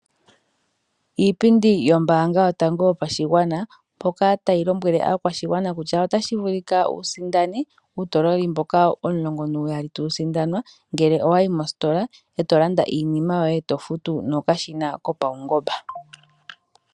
Iipindi yombaanga yotango yopashigwana, otayi lombwele aakwashigwana kutya, otashi vulika wu sindane uutololi mboka omulongo nuuyali, tawu sindanwa, ngele owayi mositola eto landa iinima yoye, eto futu nokashina kopaungomba.